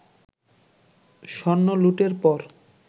স্বর্ণলুটের পর